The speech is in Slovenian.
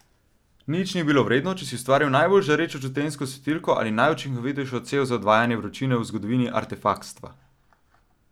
Nič ni bilo vredno, če si ustvaril najbolj žarečo čutenjsko svetilko ali najučinkovitejšo cev za odvajanje vročine v zgodovini artefaktstva.